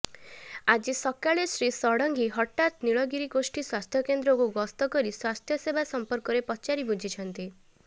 ଆଜି ସକାଳେ ଶ୍ରୀ ଷଡ଼ଙ୍ଗୀ ହଠାତ୍ ନୀଳଗିରି ଗୋଷ୍ଠୀ ସ୍ୱାସ୍ଥ୍ୟକେନ୍ଦ୍ରକୁ ଗସ୍ତ କରି ସ୍ୱାସ୍ଥ୍ୟସେବା ସଂପର୍କରେ ପଚାରି ବୁଝିଛନ୍ତି